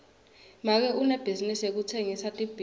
make unebhizinisi yekutsengisa tibhidvo